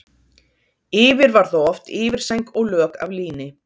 Yfir var þá oft yfirsæng og lök af líni.